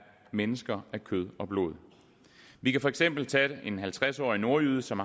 mennesker af kød og blod vi kan for eksempel tage en halvtreds årig nordjyde som